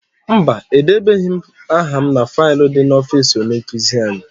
Mba, edebeghị m aha n'ime faịlu dị n'ọfịịsi onye nkụzi anyị.